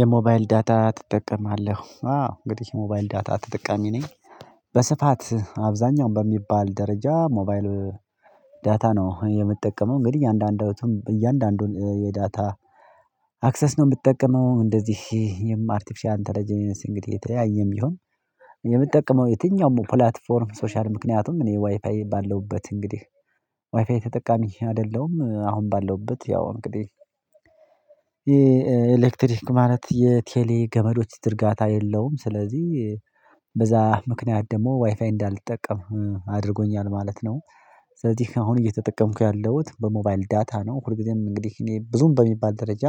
የሞባይል ዳታ ትጠቀማለህ አዎ እንግዲ ሞባይል ዳታ ተጠቃሚ ነኝ። በስፋት አብዛኛው በሚባል ደረጃ ሞባይል ዳታ ነው የምጠቀመው። እንግዲ እያንዳንዶቱን እያንዳንዱን የዳታ አክሰስ ነው ምጠቀመው። እንደዚህ የማርቴፊሻል ኢንተለጀንስ እንግዲህ የተያየም ቢሆን። የምጠቀመው የትኛውም ፕላትፎርም ሶሻል ምክንያቱም እኔ ዋይፋይ ባለውበት እንግዲህ ዋይፋይ ተጠቃሚ አደለውም አሁን ባለውበት ያው እንግዴህ። የኤሌክትሪክ ማለት የቴሌ ገመዶች ዝርጋታ የለውም ስለዚ በዛ ምክንያት ደሞ ዋይፋይ እንዳልጠቀም አድርጎኛል ማለት ነው። ስለዚህ አሁን እየተጠቀምኩ ያለውት በሞባይል ዳታ ነው። ሁል ጊዜም እንግዲህ እኔ ብዙም በሚባል ደረጃ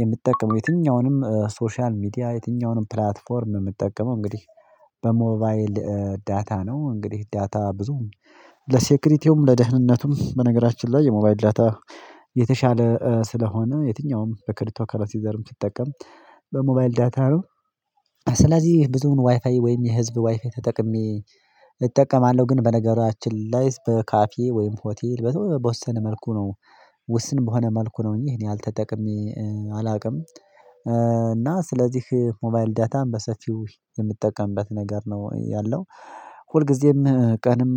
የምጠቀመው የትኛውንም ሶሻል ሚዲያ የትኛውንም ፕላትፎርም ምጠቀመው እንግዲህ በሞባይል ዳታ ነው። እንግዲ ዳታ ብዙም ለሴክሪቲውም ለደህንነቱም በነገራችን ላይ የሞባይል ዳታ የተሻለ ስለሆነ የትኛውም በክሪፕቶ ከረንሲ ዘርም ሲጠቀም በሞባይል ዳታ ነው። ስለዚ ብዙም ዋይፋይ ወይም የህዝብ ዋይፋይ ተጠቅሜ እጠቀማለው ግን በነገራችን ላይ በካፌ ወይም ሆቴል በተወሰነ መልኩ ነው። ውስን በሆነ መልኩ ነው እንጂ ይሄን ያህል ተጠቅሜ አላቅም። እና ስለዚህ ሞባይል ዳታም በሰፊው የምጠቀምበት ነገር ነው ያለው። ሁልጊዜም ቀንም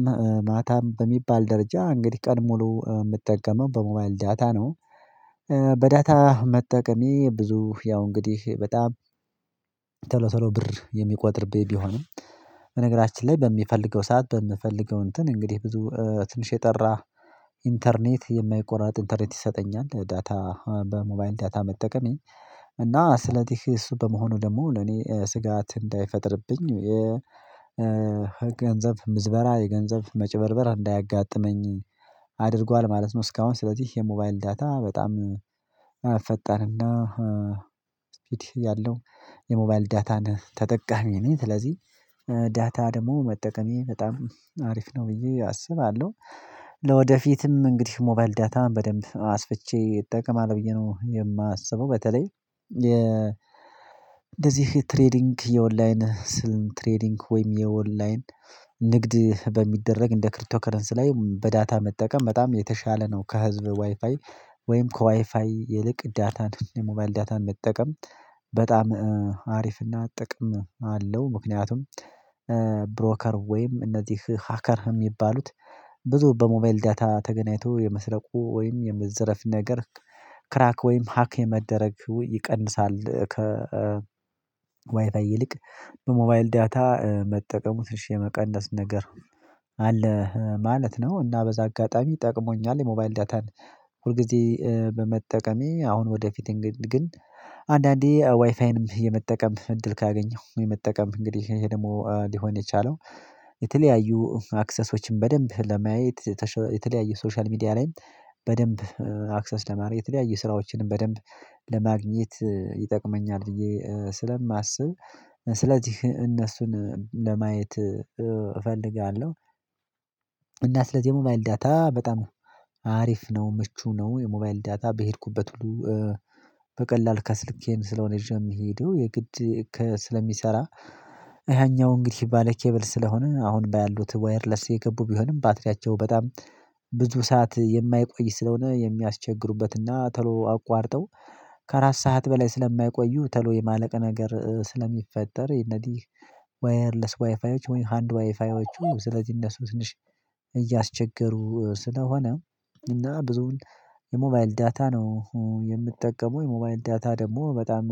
ማታም በሚባል ደረጃ እንግዲ ቀን ሙሉ ምጠቀመው በሞባይል ዳታ ነው። በዳታ መጠቀሜ ብዙ ያው እንግዲህ በጣም ቶሎ ቶሎ ብር የሚቆጥርብኝ ቢሆንም። በነገራችን ላይ በሚፈልገው ሰዓት በምፈልገው እንትን እንግዴ ብዙ ትንሽ የጠራ ኢንተርኔት የማይቆረጥ ኢንተርኔት ይሰጠኛል ዳታ በሞባይል ዳታ መጠቀሜ። እና ስለዚህ እሱ በመሆኑ ደግሞ እኔ ስጋት እንዳይፈጥርብኝ የገንዘብ ምዝበራ የገንዘብ መጭበርበር እንዳያጋጥመኝ አድርጓል ማለት ነው። እስካሁን ስለዚህ የሞባይል ዳታ በጣም ፈጣንና ስፒድ ያለው የሞባይል ዳታን ተጠቃሚ ነኝ። ስለዚ ዳታ ደሞ መጠቀሜ በጣም አሪፍ ነው ብዬ አስባለው። ለወደፊትም እንግዲህ ሞባይል ዳታ በደንብ አስፍቼ እጠቀማለው ብዬ ነው የማስበው። በተለይ እንደዚህ ትሬዲንግ የኦንላይን ስልን ትሬዲንግ ወይም የኦንላይን ንግድ በሚደረግ እንደ ክሪፕቶከረንሲ ላይ በዳታ መጠቀም በጣም የተሻለ ነው። ከህዝብ ዋይፋይ ወይም ከዋይፋይ ይልቅ ዳታን የሞባይል ዳታን መጠቀም በጣም አሪፍና ጥቅም አለው። ምክንያቱም ብሮከር ወይም እነዚህ ሀከር ሚባሉት ብዙ በሞባይል ዳታ ተገናኝቶ የመስረቁ ወይም የመዘረፍ ነገር ክራክ ወይም ሀክ የመደረግ ዌ ይቀንሳል። ከ ዋይፋይ ይልቅ በሞባይል ዳታ መጠቀሙ ትንሽ የመቀነስ ነገር አለ ማለት ነው። እና በዛ አጋጣሚ ጠቅሞኛል የሞባይል ዳታን ሁል ጊዜ በመጠቀሜ አሁን ወደፊት ግን አንዳንዴ ዋይፋይንም የመጠቀም እድል ካገኘው የመጠቀም እንግዲህ ይሄ ደሞ ሊሆን የቻለው። የተለያዩ አክሰሶችን በደንብ ለማየት የተለያየ ሶሻል ሚዲያ ላይም በደንብ አክሰስ ለማረግ የተለያየ ስራዎችንም በደንብ ለማግኘት ይጠቅመኛል ብዬ ስለማስብ ስለዚህ እነሱን ለማየት እፈልጋለው። እና ስለዚ የሞባይል ዳታ በጣም አሪፍ ነው ምቹ ነው። የሞባይል ዳታ በሄድኩበት ሁሉ በቀላል ከስልኬም ስለሆነ ይዤ ምሄደው የግድ ስለሚሰራ። ያኛው እንግዲህ ባለ ኬብል ስለሆነ አሁን ባሉት ዋይርለስ የገቡ ቢሆንም ባትሪያቸው በጣም ብዙ ሰዓት የማይቆይ ስለሆነ የሚያስቸግሩበት እና ቶሎ አቋርጠው ከአራት ሰዓት በላይ ስለማይቆዩ ተሎ የማለቅ ነገር ስለሚፈጠር። እንግዲህ ዋየርለስ ዋይፋዮች ወይም ሃንድ ዋይፋዮቹ ስለዚ እነሱ ትንሽ እያስቸገሩ ስለሆነ። እና ብዙውን የሞባይል ዳታ ነው የምጠቀመው የሞባይል ዳታ ደሞ በጣም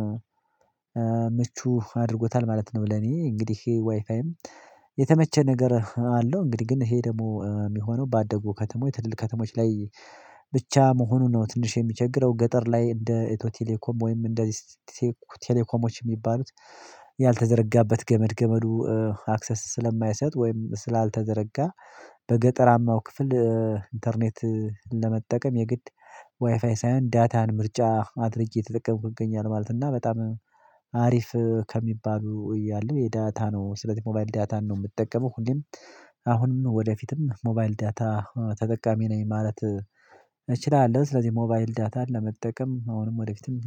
ምቹ አድርጎታል ማለት ነው። ለኔ እንግዲህ ዋይፋይም የተመቸ ነገር አለው እንግዲ ግን ይሄ ደሞ ሚሆነው ባደጉ ከተሞች ትልልቅ ከተሞች ላይ ብቻ መሆኑ ነው። ትንሽ የሚቸግረው ገጠር ላይ እንደ ኢትዮ ቴሌኮም ወይም እንደዚህ ቴሌኮሞች ሚባሉት ያልተዘረጋበት ገመድ ገመዱ አክሰስ ስለማይሰጥ ወይም ስላልተዘረጋ በገጠራማው ክፍል ኢንተርኔት ለመጠቀም የግድ ዋይፋይ ሳይሆን ዳታን ምርጫ አድርጌ እየተጠቀምኩ እገኛለው። ማለት እና በጣም አሪፍ ከሚባሉ እያሉ የዳታ ነው ስለዚ ሞባይል ዳታን ነው ምጠቀመው ሁሌም አሁንም ወደፊትም ሞባይል ዳታ ተጠቃሚ ነኝ ማለት እችላለው። ስለዚህ ሞባይል ዳታን ለመጠቀም አሁንም ወደፊትም